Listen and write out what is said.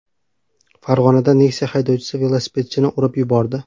Farg‘onada Nexia haydovchisi velosipedchini urib yubordi.